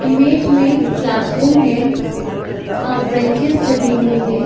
Image में class room है आ बेंचेस लगे हुए है।